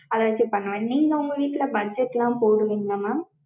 அத வச்சு பண்ணுவேன். நீங்க உங்க வீட்ல budget லா போடுவீங்களா mam?